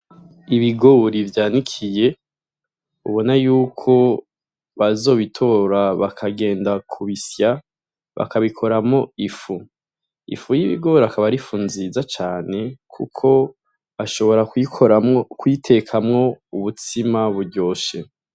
Ibigori vyanikiye, ubona yuko bazobitora bakagenda kubisya bakabikoramwo ifu, ifu y'ibigori akaba ar'ifu nziza cane kuko bashobora kuyikoramwo, kuyitekamwo ubutsima buryoshe.